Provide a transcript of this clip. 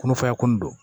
Kɔnɔfaraya kun do